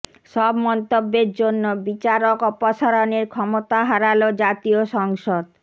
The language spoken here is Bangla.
সব মন্তব্যের জন্য বিচারক অপসারণের ক্ষমতা হারাল জাতীয় সংসদ